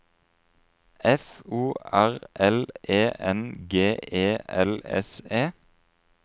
F O R L E N G E L S E